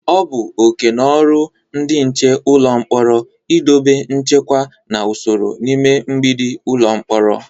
O bu okeno oru ndị nche ụlọ mkporo idobe nchekwa na usoro n'ime mgbidi ụlọ mkpọrọ.